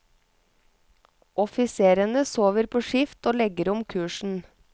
Offiserene sover på skift og legger om kursen.